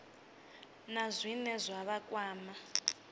na zwine zwa vha kwama